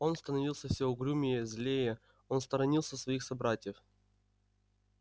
он становился все угрюмее злее он сторонился своих собратьев